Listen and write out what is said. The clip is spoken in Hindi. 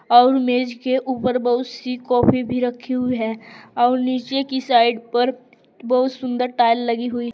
और मेज के ऊपर बहुत सी कॉपी भी रखी हुई है और नीचे की साइड पर बहुत सुंदर टाइल लगी हुई--